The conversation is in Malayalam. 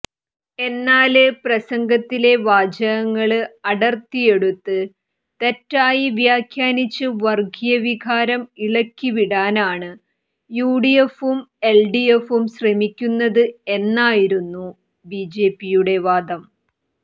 എന്നാല് പ്രസംഗത്തിലെ വാചകങ്ങള് അടര്ത്തിയെടുത്ത് തെറ്റായി വ്യാഖ്യാനിച്ച് വര്ഗീയവികാരം ഇളക്കിവിടാനാണ് യുഡിഎഫും എല്ഡിഎഫും ശ്രമിക്കുന്നത് എന്നായിരുന്നു ബിജെപിയുടെ വാദം